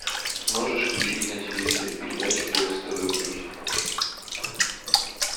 можешь включить на телевизоре передачу бокс тв плюс